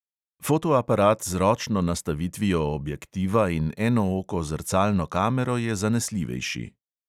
Fotoaparat z ročno nastavitvijo objektiva in enooko zrcalno kamero je zanesljivejši.